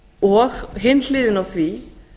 og hin hliðin á því